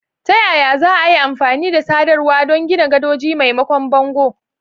Ta yaya za a yi amfani da sadarwa don gina gadoji maimakon bango?